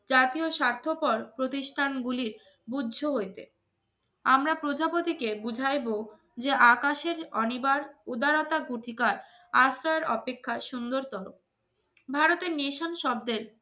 জাতীয় স্বার্থপর প্রতিষ্ঠানগুলির বুদ্ধ হইতে আমরা প্রজাপতিকে বুঝাইব যে আকাশের অনিবার উদারতা অধিকার সুন্দরতল। ভারতের নেশন শব্দ